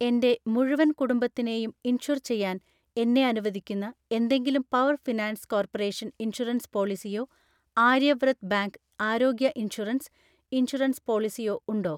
എൻ്റെ മുഴുവൻ കുടുംബത്തിനെയും ഇൻഷുർ ചെയ്യാൻ എന്നെ അനുവദിക്കുന്ന എന്തെങ്കിലും പവർ ഫിനാൻസ് കോർപ്പറേഷൻ ഇൻഷുറൻസ് പോളിസിയോ ആര്യവ്രത് ബാങ്ക് ആരോഗ്യ ഇൻഷുറൻസ്, ഇൻഷുറൻസ് പോളിസിയോ ഉണ്ടോ?